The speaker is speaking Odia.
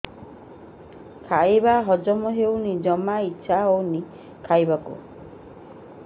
ଖାଇବା ହଜମ ହଉନି ଜମା ଇଛା ହଉନି ଖାଇବାକୁ